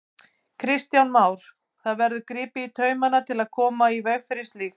Kristján Már: Það verður gripið í taumana til að koma í veg fyrir slíkt?